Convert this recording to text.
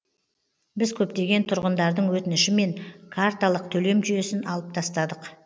біз көптеген тұрғындардың өтінішімен карталық төлем жүйесін алып тастадық